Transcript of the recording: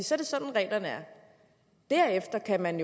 så er sådan reglerne er derefter kan man